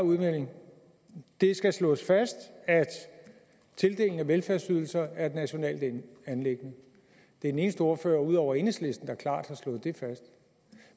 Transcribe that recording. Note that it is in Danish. udmelding det skal slås fast at tildelingen af velfærdsydelser er et nationalt anliggende det er den eneste ordfører ud over enhedslisten der klart har slået det fast